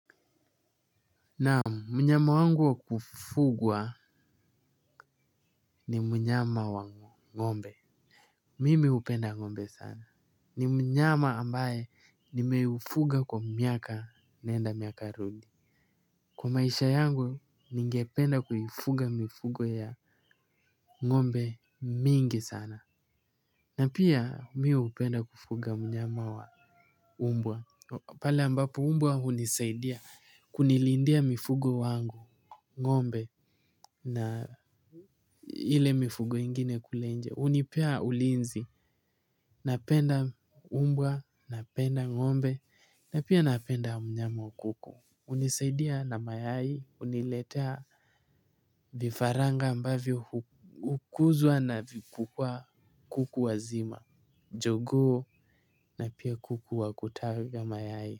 Naamu, mnyama wangu wa kufugwa ni mnyama wa, ngombe. Mimi upenda ngombe sana. Ni mnyama ambaye nimeufuga kwa miaka nenda miaka rudi. Kwa maisha yangu, ninge penda kufuga mifugo ya ngombe mingi sana. Na pia, mi upenda kufuga mnyama wa umbwa. Pala ambapo umbwa hunisaidia kunilindia mifugo wangu, ngombe na hile mifugo ingine. Unipea ulinzi, napenda umbwa, napenda ngombe, napia napenda mnyama wa kuku. Unisaidia na mayai, uniletea vifaranga ambavyo ukuzwa na vikukua kuku wazima, jogoo na pia kuku wa kutaga mayai.